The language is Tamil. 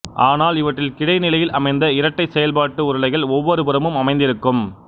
ஆனால் இவற்றில் கிடைநிலையில் அமைந்த இரட்டைச் செயல்பாட்டு உருளைகள் ஒவ்வொரு புறமும் அமைந்திருக்கும்